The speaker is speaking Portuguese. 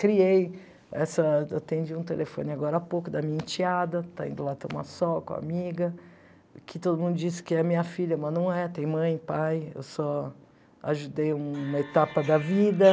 Criei, assim atendi um telefone agora há pouco da minha enteada, está indo lá tomar sol com a amiga, que todo mundo diz que é minha filha, mas não é, tem mãe, pai, eu só ajudei uma etapa da vida.